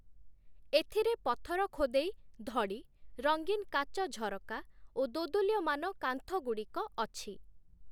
ଏଥିରେ ପଥର ଖୋଦେଇ ଧଡ଼ି ରଙ୍ଗୀନ୍ କାଚ ଝରକା ଓ ଦୋଦୁଲ୍ୟମାନ କାନ୍ଥଗୁଡ଼ିକ ଅଛି ।